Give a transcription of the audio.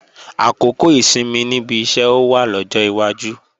Àkókò ìsinmi níbi iṣẹ́ ó wá lọ́jọ́ iwájú